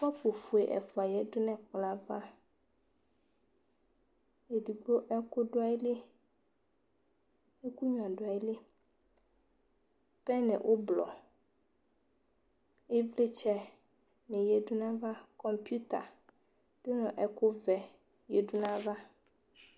Kɔpʋ fue ɛfua yadu nʋ ɛkplɔ yɛ ava Ɛdigbo ɛkʋ du ayili, ɛkʋnyua du ayiliPɛni ʋbluɔ, ivlitsɛ ni yadu naya va Kɔmpʋta du nu ɛkʋ vɛ yadu naya ava